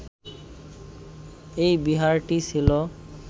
এই বিহারটি ছিল